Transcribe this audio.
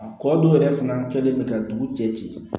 A kɔ dɔw yɛrɛ fana kɛlen bɛ ka dugu cɛ ci ci